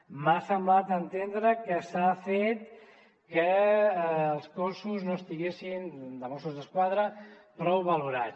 m’ha semblat entendre que s’ha fet que el cos no estigués de mossos d’esquadra prou valorat